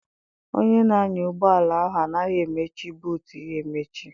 Onye na-anya ụgbọala ahụ anaghị emechi buutu ya emechi.